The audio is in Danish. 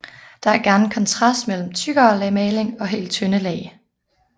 Der er gerne en kontrast mellem tykkere lag maling og helt tynde lag